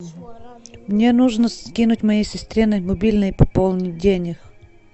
мне нужно скинуть моей сестре на мобильный пополнить денег